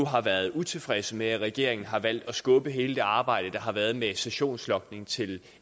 har været utilfredse med at regeringen har valgt at skubbe hele det arbejde der har været med sessionslogning til